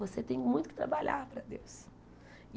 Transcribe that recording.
Você tem muito que trabalhar para Deus.